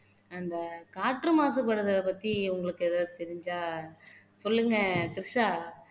அந்த காற்று மாசுபடுறத பத்தி உங்களுக்கு ஏதாவது தெரிஞ்சா சொல்லுங்க த்ரிஷா